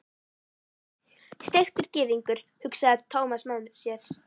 Steiktur gyðingur, hugsaði Thomas með sér.